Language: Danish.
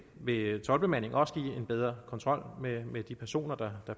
vil toldbemandingen også give en bedre kontrol med de personer der